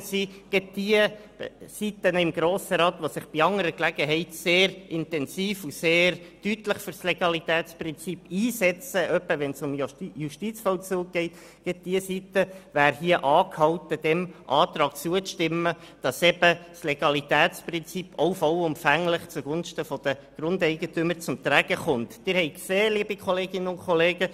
Gerade diejenige Seite im Grossen Rat, die sich bei anderer Gelegenheit sehr intensiv und deutlich für das Legalitätsprinzip einsetzt, etwa wenn es um den Justizvollzug geht, wäre hier angehalten, diesem Antrag zuzustimmen, damit das Legalitätsprinzip auch zugunsten der Grundeigentümer vollumfänglich zum Tragen kommt.